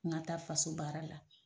N ka taa faso baara la.